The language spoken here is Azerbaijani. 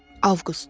Avqust.